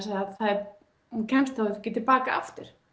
að hún kemst þá ekki tilbaka aftur